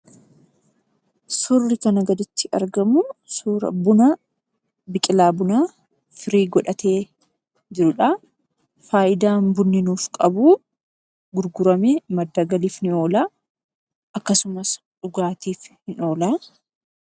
Surri kana gadiitti argamuu, suuraa biqilaa Buunaa firee godhatee jiruudha. Faayiidaan Buunnii nuuf qabu gurguramee maddaaa galiif ni olaa. Akkasumaas immoo dhugatiif ni olaa.